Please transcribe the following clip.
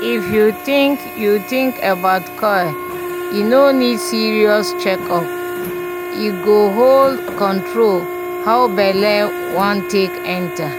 if you think you think about coil e no need serious check up - e go hold control how belle wan take enter